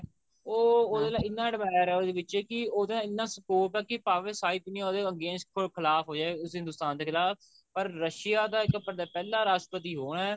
ਉਹ ਉਹਦੇ ਨਾਲ ਇੰਨਾ admire ਹੈ ਉਹਦੇ ਵਿੱਚ ਕਿ ਉਹਦਾ ਇੰਨਾ support ਐ ਕਿ ਭਾਵੇ ਸਾਰੀ ਦੁਨੀਆਂ ਉਹਦੇ against ਕੋਈ ਖਿਲਾਫ਼ ਹੋ ਜਾਏ ਉਸ ਹਿੰਦੁਸਤਾਨ ਦੇ ਖਿਲਾਫ਼ ਐ ਪਰ Russia ਦਾ ਇੱਕ ਪਹਿਲਾਂ ਰਾਸ਼ਟਰਪਤੀ ਉਹ ਐ